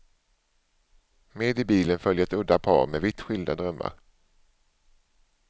Med i bilen följer ett udda par med vitt skilda drömmar.